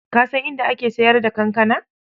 Ka san inda ake sayar da kankana?